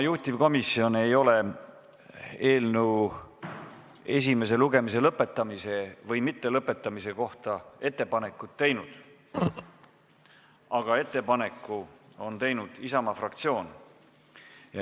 Juhtivkomisjon ei ole eelnõu esimese lugemise lõpetamise või mittelõpetamise kohta ettepanekut teinud, aga ettepaneku on teinud Isamaa fraktsioon.